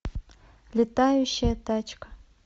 летающая тачка